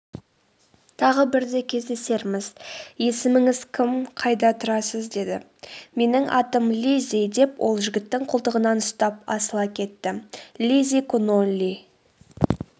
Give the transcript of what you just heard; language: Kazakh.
тағы бірде кездесерміз есіміңіз кім қайда тұрасыз деді.менің атым лиззи деп ол жігіттің қолтығынан ұстап асыла кетті.лиззи конолли